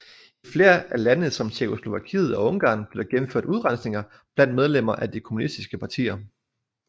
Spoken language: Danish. I flere af landene som Tjekkoslovakiet og Ungarn blev der gennemført udrensninger blandt medlemmerne af de kommunistiske partier